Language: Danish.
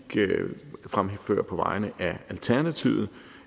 fremførte på vegne af alternativet